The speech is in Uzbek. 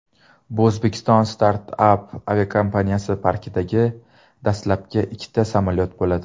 Bu O‘zbekiston startap aviakompaniyasi parkidagi dastlabki ikkita samolyot bo‘ladi.